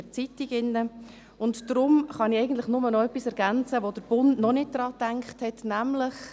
Deshalb kann ich eigentlich nur noch etwas ergänzen, an das «Der Bund» noch nicht gedacht hat, nämlich: